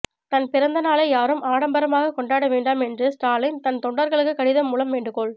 தன் பிறந்தநாளை யாரும் ஆடம்பரமாக கொண்டாட வேண்டாம் என்று ஸ்டாலின் தன் தொண்டர்களுக்கு கடிதம் மூலம் வேண்டுகோள்